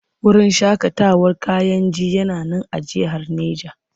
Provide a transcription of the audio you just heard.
Wurin shaƙatawar Kayenji yana nan a jihar Neja.